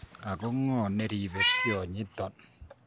Ako ng'o neribe tionyi ton